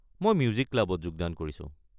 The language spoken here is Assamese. মই মিউজিক ক্লাবত যোগদান কৰিছো।